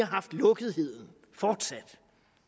haft lukketheden